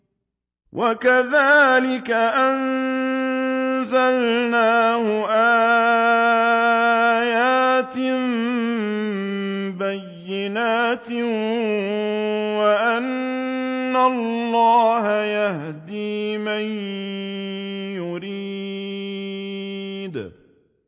وَكَذَٰلِكَ أَنزَلْنَاهُ آيَاتٍ بَيِّنَاتٍ وَأَنَّ اللَّهَ يَهْدِي مَن يُرِيدُ